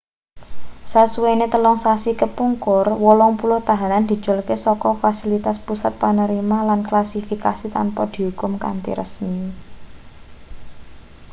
sasuwene 3 sasi kepungkur 80 tahanan diculke saka fasilitas pusat panerima lan klasifikasi tanpa diukum kanthi resmi